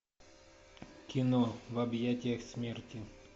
кино в объятиях смерти